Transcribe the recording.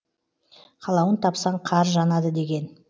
қалауын тапсаң қар жанады деген